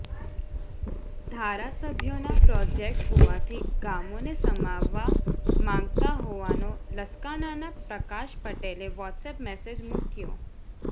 ધારાસભ્યોના પ્રોજેક્ટ હોવાથી ગામોને સમાવવા માંગતા હોવાનો લસકાણાના પ્રકાશ પટેલે વોટ્સએપ મેસેજ મૂક્યો